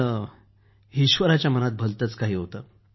परंतु ईश्वराच्या मनात भलतेच काही होते